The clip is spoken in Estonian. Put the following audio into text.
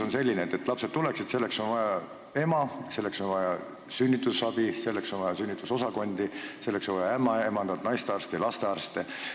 Aga selleks, et lapsed tuleksid, on vaja emasid, on vaja sünnitusabi, on vaja sünnitusosakondi, on vaja ämmaemandaid, naistearste ja lastearste.